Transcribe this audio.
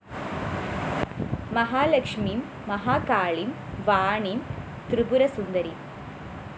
മഹാലക്ഷ്മീം മഹാകാളീം വാണീം ത്രിപുരസുന്ദരീം